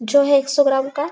जौ है एक सौ ग्राम का--